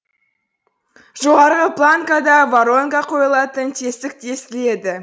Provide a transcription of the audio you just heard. жоғарғы планкада воронка қойылатын тесік тесіледі